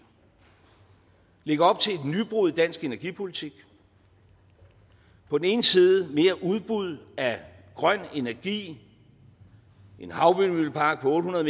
lægger op til et nybrud i dansk energipolitik på den ene side mere udbud af grøn energi en havvindmøllepark på otte hundrede